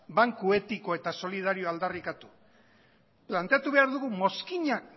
banku etiko eta solidarioa aldarrikatu planteatu behar dugu mozkina